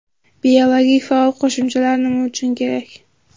Biologik faol qo‘shimchalar nima uchun kerak?